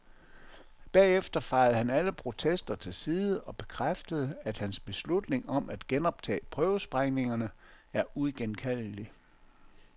Bagefter fejede han alle protester til side og bekræftede, at hans beslutning, om at genoptage prøvesprængningerne, er uigenkaldelig.